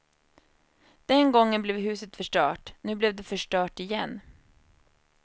Den gången blev huset förstört, nu blev det förstört igen.